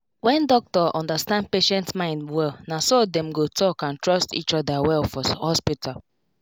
na good thing when doctor explain treatment with simple words patients go fit understand wella